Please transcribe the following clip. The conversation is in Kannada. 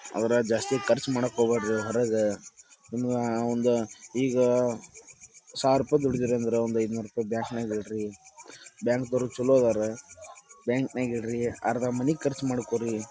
ಆದರ ಜಾಸ್ತಿ ಖರ್ಚ್ ಮಾಡಾಕ್ ಹೋಗ್ಬ್ಯಾಡ್ರಿ ಹೊರಗ ಒಂ ಒಂದ ಈಗ ಸಾವಿರ್ರುಪಾಯಿ ದುಡದೀರಂದ್ರ ಒಂದ ಐನೂರ್ರುಪಾಯಿ ಬ್ಯಾಂಕನಾಗ್ ಇಡ್ರಿ ಬ್ಯಾಂಕದೋರೂ ಛಲೋ ಅದಾರ ಬ್ಯಾಂಕಾನಾಗಿಡ್ರಿ . ಅರ್ಧ ಮನಿಗ್ ಖರ್ಚ್ ಮಾಡ್ಕೋರಿ.